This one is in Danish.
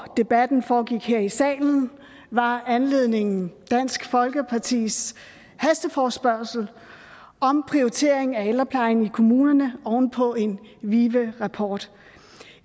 debatten foregik her i salen var anledningen dansk folkepartis hasteforespørgsel om prioritering af ældreplejen i kommunerne oven på en vive rapport